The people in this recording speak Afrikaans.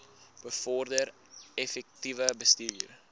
bevorder effektiewe bestuur